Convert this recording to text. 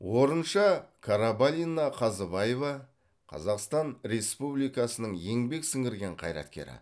орынша карабалина қазыбаева қазақстан республикасының еңбек сіңірген қайраткері